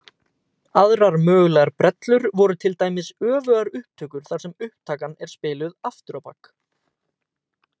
Aðrar mögulegar brellur voru til dæmis öfugar upptökur þar sem upptakan er spiluð aftur á bak.